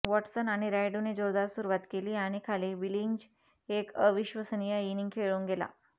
Watson आणी रायडू ने जोरदार सुरूवात केली आणी खाली बिलिंग्ज एक अविश्वसनीय इनिंग खेळून गेला